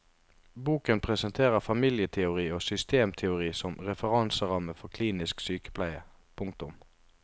Boken presenterer familieteori og systemteori som referanseramme for klinisk sykepleie. punktum